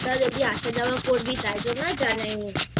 যদি আসা যাওয়া করবি তারxa0জন্যxa0জানাইনি